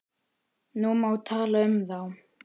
Nú má tala um þá.